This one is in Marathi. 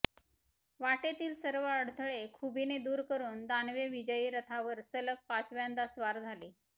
वाटेतील सर्व अडथळे खुबीने दूर करून दानवे विजयी रथावर सलग पाचव्यांदा स्वार झाले